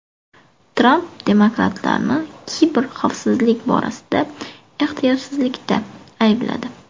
Tramp demokratlarni kiberxavfsizlik borasida ehtiyotsizlikda aybladi.